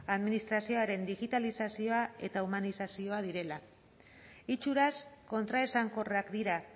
administrazioaren digitalizazioa eta humanizazioa direla itxuraz kontraesankorrak dira